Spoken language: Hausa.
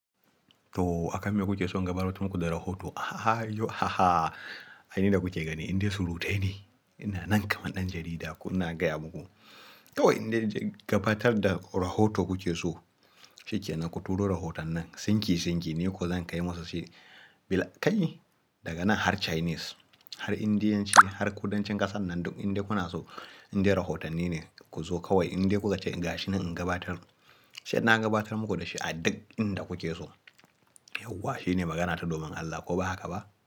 Toh, akan me ku ke so in gabatar muku da rahoto? Ahaa yau ahaa, aini da kuke gani, indai surutai ne, ina nan kaman ɗan jarida ko ina gaya muku, Toh indai nace, gabatar da rahoto kuke so, shike nan. Ku turo rahotannin, sinƙi-sinƙi, ni ko zan kai musu shi, bila kai, daga nan har Chinese, har Indianci, har kudancin ƙasan nan duk indai kuna so, indai rahotanni ne ku zo kawai, Indai ku ka ce, gashi nan in gabatar, sai na gabatar muku da shi a duk inda kuke so, Yauwa shine magana ta domin Allah, ko ba haka ba?